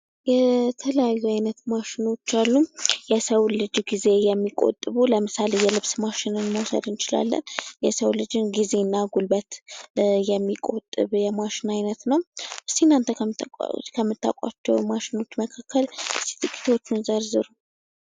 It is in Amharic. የተለያዩ አይነት ማሸኖች አሉ። የሰው ልጅ ጊዜ የሚቆጥቡ ለምሳሌ የልብስ ማሸነፍ መውሰድ እንችላለን። የሰው ልጅን ጊዜና ጉልበት የሚቆጥብ የማሽን አይነት ነው ሲናገር ከምታውቋቸው ማሽኖች መካከል ስራ